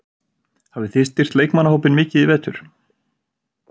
Hafið þið styrkt leikmannahópinn mikið í vetur?